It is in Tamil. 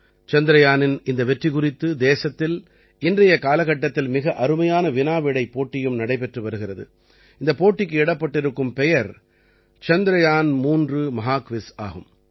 சந்திரயானின் இந்த வெற்றி குறித்து தேசத்தில் இன்றைய காலகட்டத்தில் மிக அருமையான வினா விடைப் போட்டியும் நடைபெற்று வருகிறது இந்தப் போட்டிக்கு இடப்பட்டிருக்கும் பெயர் சந்திரயான் 3 மஹா க்விஸ் ஆகும்